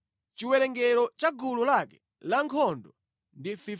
Chiwerengero cha gulu lake lankhondo ndi 54,400.